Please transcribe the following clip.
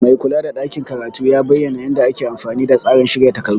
Maikula da ɗakin karatu ya bayyana yadda ake amfani da tsarin shirya takardu.